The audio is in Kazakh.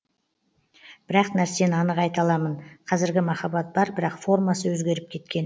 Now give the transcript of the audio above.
бір ақ нәрсені анық айта аламын қазіргі махаббат бар бірақ формасы өзгеріп кеткен